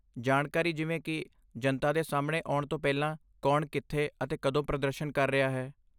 ਜਾਣਕਾਰੀ ਜਿਵੇਂ ਕਿ ਜਨਤਾ ਦੇ ਸਾਹਮਣੇ ਆਉਣ ਤੋਂ ਪਹਿਲਾਂ ਕੌਣ ਕਿੱਥੇ ਅਤੇ ਕਦੋਂ ਪ੍ਰਦਰਸ਼ਨ ਕਰ ਰਿਹਾ ਹੈ?